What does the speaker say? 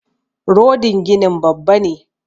Rodin ginin Babba ne